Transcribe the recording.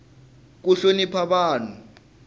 ku hlonipa vanhu